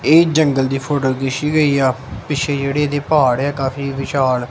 ਇਹ ਜੰਗਲ ਦੀ ਫੋਟੋ ਖਿੱਚੀ ਗਈ ਆ ਪਿੱਛੇ ਜਿਹੜੀ ਦੀ ਪਹਾੜ ਆ ਕਾਫੀ ਵਿਸ਼ਾਲ--